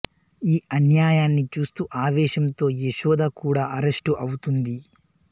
ఈ అన్యాయాన్ని చూస్తూ ఆవేశంతో యశోద కూడా అరెస్టు అవుతుంది